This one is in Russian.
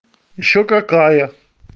ещё какая